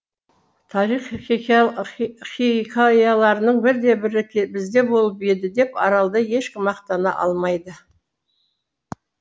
тарих хикаяларының бірде бірі бізде болып еді деп аралда ешкім мақтана алмайды